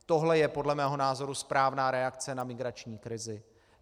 Tohle je podle mého názoru správná reakce na migrační krizi.